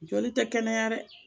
Joli tɛ kɛnɛya dɛ